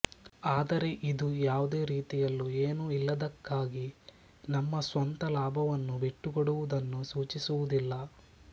ಆದರೆ ಇದು ಯಾವುದೇ ರೀತಿಯಲ್ಲೂ ಏನೂ ಇಲ್ಲದಕ್ಕಾಗಿ ನಮ್ಮ ಸ್ವಂತ ಲಾಭವನ್ನು ಬಿಟ್ಟುಕೊಡುವುದನ್ನು ಸೂಚಿಸುವುದಿಲ್ಲ